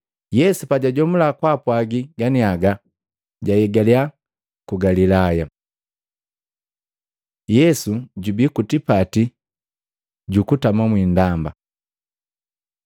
Yesu pajajomula kwaapwagi ganiaga, jahigaliya ku Galilaya. Yesu jubii ku tipati gu kutama mwindamba